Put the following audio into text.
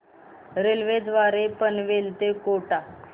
railway द्वारे पनवेल ते कोटा